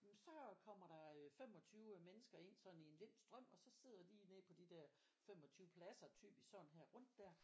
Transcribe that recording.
Så kommer der øh 25 mennesker ind sådan i en lind strøm og så sidder de ned på de der 25 pladser typisk sådan her rundt der